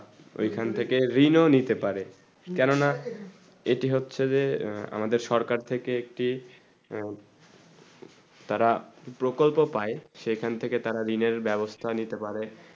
ওখান থেকে ঋণ নিতে পারে কেন না এটি হচ্ছে যে আমাদের সরকার থেকে একটি তারা প্রকল্প পায়ে সেখান থেকে তারা ঋণের বেবস্তা নিতে পারে